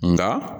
Nka